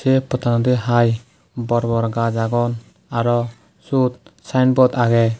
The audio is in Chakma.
ei pottanodi hai bor bor gaj agon arow syod sainbod agey.